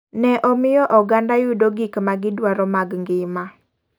Ne omiyo oganda yudo gik ma gi dwaro mag ng'ima .